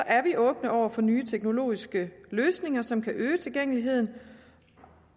er vi åbne over for nye teknologiske løsninger som kan øge tilgængeligheden